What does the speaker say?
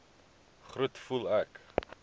groet voel ek